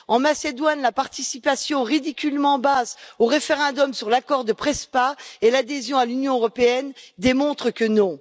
En Macédoine, la participation ridiculement basse au référendum sur l'accord de Prespa et l'adhésion à l'Union européenne démontre que non.